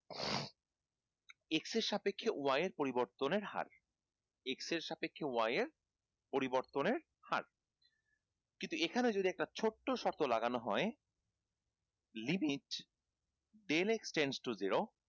x এর সাপেক্ষে y এর পরিবর্তনের হার x এর সাপেক্ষে y এর পরিবর্তনের হার কিন্তু এইখানে যদি একটা ছোট্ট শর্ত লাগানো হয় limit then exchange to zero